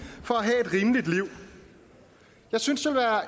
for at have et rimeligt liv jeg synes